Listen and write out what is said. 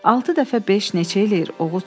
Altı dəfə beş neçə eləyir?